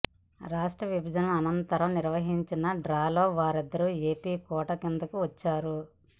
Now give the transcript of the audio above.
రాష్ట్ర విభజన అనంతరం నిర్వహించిన డ్రాలో వారిద్దరూ ఏపీ కోటా కిందికి వచ్చారు